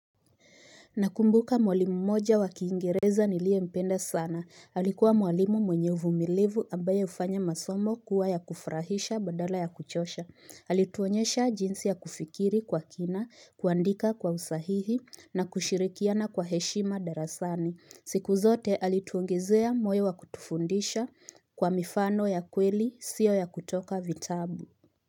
Nakumbuka mwalimu mmoja wakiingereza niliye mpenda sana. Alikuwa mwalimu mwenye uvumilivu ambaye hufanya masomo kuwa ya kufurahisha badala ya kuchosha. Alituonyesha jinsi ya kufikiri kwa kina, kuandika kwa usahihi na kushirikiana kwa heshima darasani. Siku zote alituongezea moyo wa kutufundisha kwa mifano ya kweli sio ya kutoka vitabu.